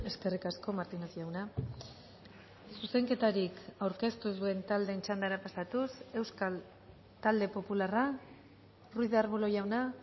eskerrik asko martinez jauna zuzenketarik aurkeztu ez duen taldeen txandara pasatuz euskal talde popularra ruiz de arbulo jauna